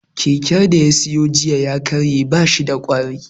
Keken da ya siyo jiya ya karye, ba shi da ƙwari